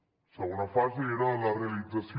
la segona fase era la realització